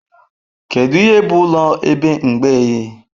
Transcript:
Kedu ihe bụ ụlọ ebe mgbei?